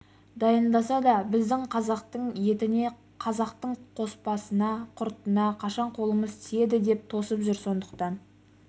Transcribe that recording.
дайындаса да біздің қазақтың етіне қазақтың қоспасына құртына қашан қолымыз тиеді деп тосып жүр сондықтан